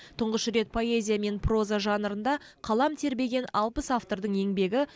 тұңғыш рет поэзия мен проза жанрында қалам тербеген алпыс автордың еңбегі